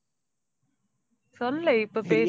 சொல்லு இப்ப பேசு.